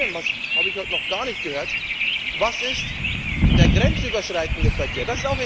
Und vor allem das habe ich heute noch gar nicht gehört was ist der grenzüberschreitende Verkehr?